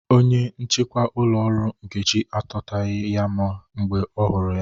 Onye nchịkwa ụlọ ọrụ Nkechi akọtaghị ya mgbe ọ hụrụ ya